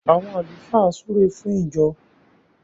àwon àlùfáà súré fún ìjọ.